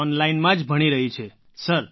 ઑનલાઇનમાં જ ભણી રહી છે સર